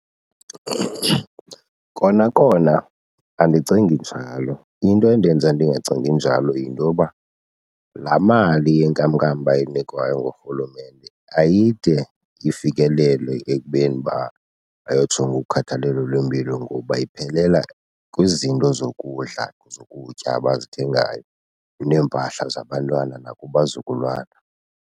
Kona kona andicingi njalo. Into endenza ndingacingi njalo yinto yoba laa mali yenkamnkam bayinikwayo ngurhulumente ayide ifikelele ekubeni uba bayojonga ukhathalelo lwempilo ngoba iphelela kwizinto zokudla, zokutya abazithengayo, neempahla zabantwana nakubazukulwana.